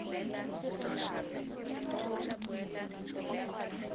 intaseteri kgotsa boemedi jwa bona